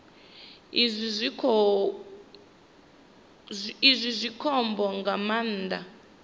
izwi zwi khombo nga maanḓa